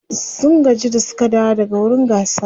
sun gaji da Suka dawo daga wurin gasar